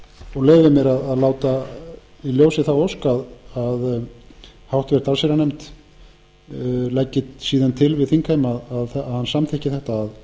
og leyfi mér að láta í ljósi þá ósk að háttvirta allsherjarnefnd leggi síðan til við þingheim að hann samþykki þetta að